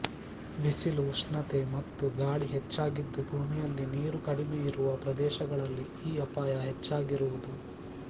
ಬಿಸಿಲು ಉಷ್ಣತೆ ಮತ್ತು ಗಾಳಿ ಹೆಚ್ಚಾಗಿದ್ದು ಭೂಮಿಯಲ್ಲಿ ನೀರು ಕಡಿಮೆ ಇರುವ ಪ್ರದೇಶಗಳಲ್ಲಿ ಈ ಅಪಾಯ ಹೆಚ್ಚಾಗಿರುವುದು